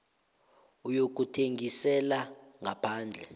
yokuthengisela ngaphandle